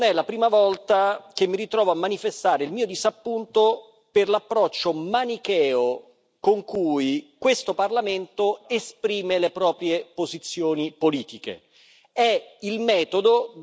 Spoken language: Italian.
Tuttavia, non è la prima volta che mi ritrovo a manifestare il mio disappunto per l'approccio manicheo con cui questo Parlamento esprime le proprie posizioni politiche.